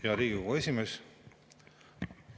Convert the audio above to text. Hea Riigikogu esimees!